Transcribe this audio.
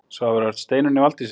Svavar Örn: Steinunni Valdísi?